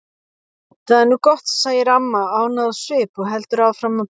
Það er nú gott, segir amma ánægð á svip og heldur áfram að prjóna.